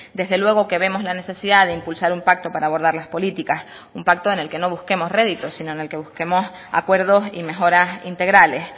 desde luego que vemos la necesidad de impulsar un pacto para abordar las políticas un pacto en el que no busquemos réditos sino en el que busquemos acuerdos y mejoras integrales